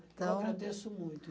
Então... Eu agradeço muito.